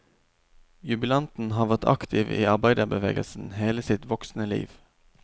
Jubilanten har vært aktiv i arbeiderbevegelsen hele sitt voksne liv.